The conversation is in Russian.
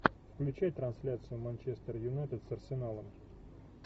включай трансляцию манчестер юнайтед с арсеналом